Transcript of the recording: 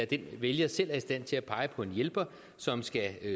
den vælger selv er i stand til at pege på en hjælper som skal